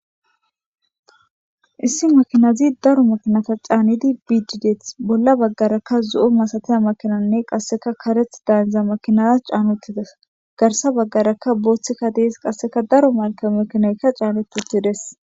issi makinazi daro makinata caannidi bidi bolla baggarakka zo7o masataya makinanne qasseka kareth dayndza makinara caanuttides garsa baggarakka booththeka dees qasseka daro malke makineyka caanutittides